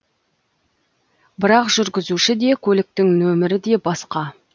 бірақ жүргізуші де көліктің нөмері де басқа